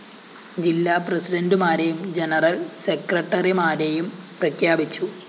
ജില്ലാ പ്രസിഡന്റുമാരെയും ജനറൽ സെക്രട്ടറിമാരെയും പ്രഖ്യാപിച്ചു